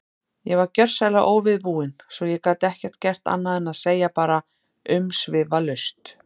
Ég var gjörsamlega óviðbúinn, svo ég gat ekkert gert annað en að segja bara umsvifalaust